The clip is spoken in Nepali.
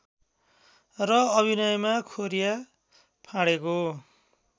र अभिनयमा खोरिया फाँडेको